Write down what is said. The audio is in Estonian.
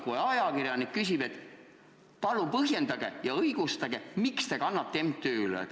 Kuid ajakirjanik küsib, et palun põhjendage ja õigustage seda, miks te kannate raha MTÜ-le.